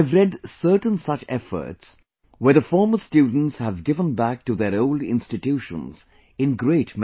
I have read certain such efforts, where the former students have given back to their old institutions in great measure